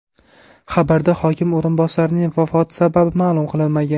Xabarda hokim o‘rinbosarining vafoti sababi ma’lum qilinmagan.